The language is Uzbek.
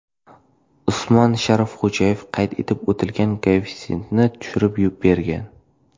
Usmon Sharifxo‘jayev qayd etib o‘tilgan koeffitsiyentni tushuntirib bergan.